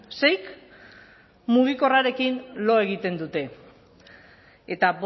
seik mugikorrarekin lo egiten dute eta